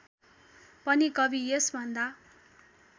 पनि कवि यसभन्दा